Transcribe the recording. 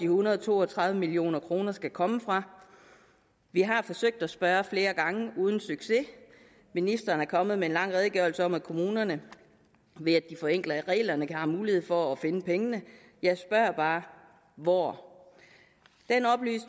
hundrede og to og tredive million kroner skal komme fra vi har forsøgt at spørge flere gange uden succes ministeren er kommet med en lang redegørelse om at kommunerne ved at de forenkler reglerne har mulighed for at finde pengene jeg spørger bare hvor